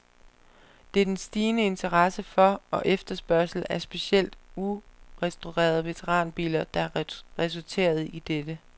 Det er den stigende interesse for og efterspørgsel af specielt urestaurede veteranbiler, der har resulteret i dette.